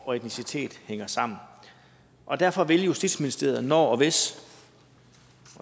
og etnicitet hænger sammen derfor vil justitsministeriet når og hvis